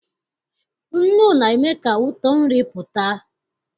Nnu na-eme ka ụtọ nri pụta.